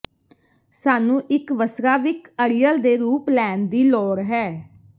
ਸਾਨੂੰ ਇੱਕ ਵਸਰਾਵਿਕ ਅੜੀਅਲ ਦੇ ਰੂਪ ਲੈਣ ਦੀ ਲੋੜ ਹੈ